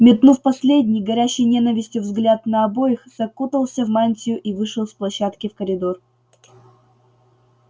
метнув последний горящий ненавистью взгляд на обоих закутался в мантию и вышел с площадки в коридор